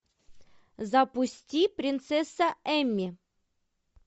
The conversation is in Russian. запусти принцесса эмми